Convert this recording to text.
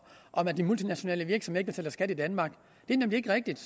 at de multinationale virksomheder ikke betaler skat i danmark det er nemlig ikke rigtigt